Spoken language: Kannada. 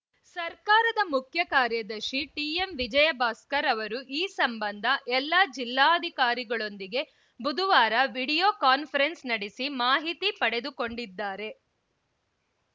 ಸರ್ಕಾರದ ಮುಖ್ಯ ಕಾರ್ಯದರ್ಶಿ ಟಿಎಂವಿಜಯ್‌ ಭಾಸ್ಕರ್‌ ಅವರು ಈ ಸಂಬಂಧ ಎಲ್ಲಾ ಜಿಲ್ಲಾ ಅಧಿಕಾರಿಗಳೊಂದಿಗೆ ಬುಧವಾರ ವಿಡಿಯೋ ಕಾನ್ಫರೆನ್ಸ್‌ ನಡೆಸಿ ಮಾಹಿತಿ ಪಡೆದುಕೊಂಡಿದ್ದಾರೆ